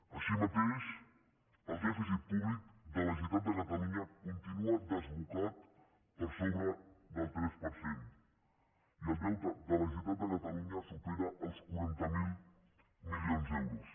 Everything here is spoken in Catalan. així mateix el dèficit públic de la generalitat de catalunya continua desbocat per sobre del tres per cent i el deute de la generalitat de catalunya supera els quaranta miler milions d’euros